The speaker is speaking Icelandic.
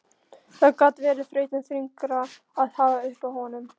Þá gat verið þrautin þyngri að hafa upp á honum.